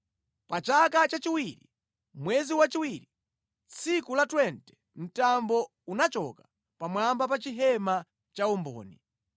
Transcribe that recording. Pa chaka chachiwiri, mwezi wachiwiri, tsiku la 20, mtambo unachoka pamwamba pa chihema cha umboni.